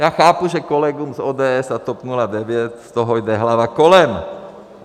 Já chápu, že kolegům z ODS a TOP 09 z toho jde hlava kolem.